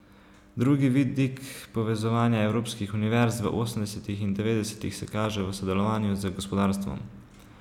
Drugi vidik povezovanja evropskih univerz v osemdesetih in devetdesetih se kaže v sodelovanju z gospodarstvom.